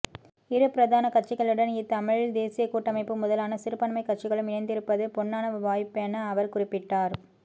இரு பிரதான கட்சிகளுடன்இ தமிழ் தேசியக் கூட்டமைப்பு முதலான சிறுபான்மை கட்சிகளும் இணைந்திருப்பது பொன்னான வாய்ப்பென அவர் குறிப்பிட்டார்